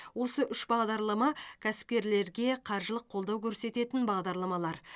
осы үш бағдарлама кәсіпкерлерге қаржылық қолдау көрсететін бағдарламалар